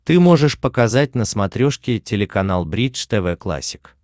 ты можешь показать на смотрешке телеканал бридж тв классик